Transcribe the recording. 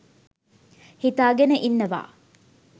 හිතාගෙන ඉන්නවා.